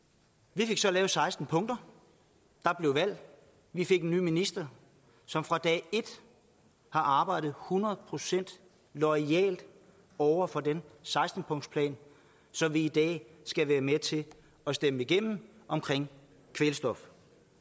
vi fik så lavet seksten punkter der blev valg vi fik en ny minister som fra dag et har arbejdet hundrede procent loyalt over for den seksten punktsplan som vi i dag skal være med til at stemme igennem omkring kvælstof